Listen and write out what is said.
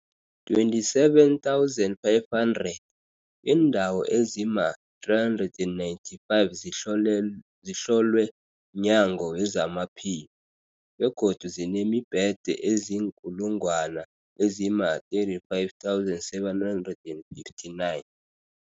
27 500. Iindawo ezima-395 zihlolwe mNyango wezamaPhilo, begodu zinemibhede eziinkulungwana ezima-35 759.